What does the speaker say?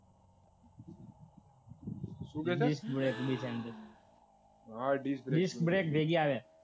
શું દેખાય disk break